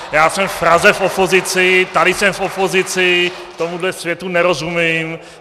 Já jsem v Praze v opozici, tady jsem v opozici, tomuhle světu nerozumím.